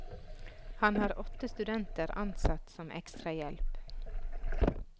Han har åtte studenter ansatt som ekstrahjelp.